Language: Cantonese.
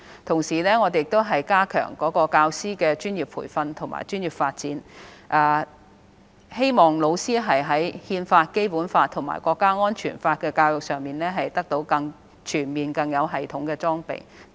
同時，我們亦加強教師的專業培訓和專業發展，希望老師在《憲法》、《基本法》和《香港國安法》的教育上得到更全面及更有系統的裝備。